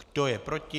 Kdo je proti?